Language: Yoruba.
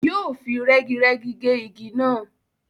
Yóò fi rẹ́girẹ́gi ge igi náà.